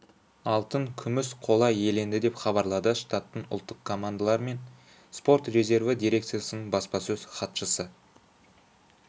алтын күміс қола иеленді деп хабарлады штаттық ұлттық командалар мен спорт резерві дирекциясының баспасөз хатшысы